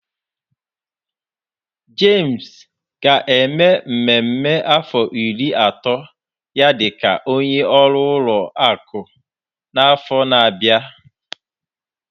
James ga-eme mmemme afọ iri ato ya dị ka onye ọrụ ụlọ akụ n'afọ na-abịa.